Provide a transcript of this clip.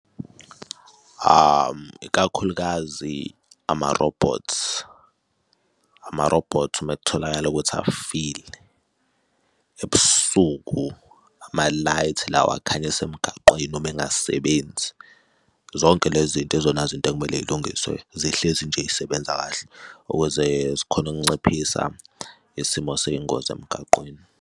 Ikakhulukazi ama-robots, ama-robots uma kutholakala ukuthi afike ebusuku ama-lights lawa akhanya semgaqweni uma engasebenzi. Zonke le zinto izona zinto ekumele y'lungiswe, zihlezi nje y'sebenza kahle ukuze zikhone ukunciphisa isimo sey'ngozi emgaqweni.